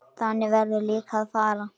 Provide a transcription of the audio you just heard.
Þannig verður líka að fara.